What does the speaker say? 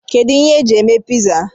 Kedụ ihe eji eme piza?